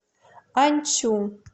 аньцю